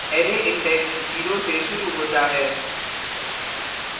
array index 0 से शुरू होता है